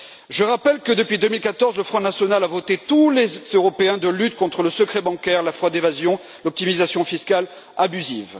Je rappelle que, depuis 2014, le Front national a voté tous les textes européens de lutte contre le secret bancaire, la fraude, l'évasion et l'optimisation fiscale abusive.